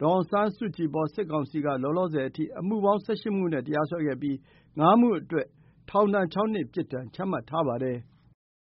ဒေါ်အောင်ဆန်းစုကြည်အပေါ် စစ်ကောင်စီက လောလောဆယ်အထိ အမှုပေါင်း ၁၈ မှုနဲ့ တရားစွဲခဲ့ပြီး၊ ၅ မှုအတွက် ထောင်ဒဏ် ၆ နှစ် ပြစ်ဒဏ်ချမှတ်ထားပါတယ်။